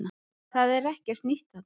Það er ekkert nýtt þarna